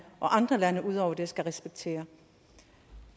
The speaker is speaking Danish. og andre lande skal respektere